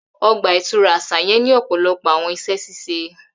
Ogba itura aṣa yẹn ni ọpọlọpọ awọn iṣẹ ṣiṣe.